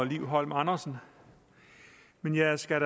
liv holm andersen men jeg skal